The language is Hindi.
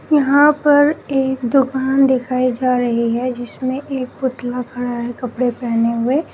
यहां पर एक दुकान दिखाई जा रही है जिसमें एक पुतला खड़ा है कपड़े पहने हुए।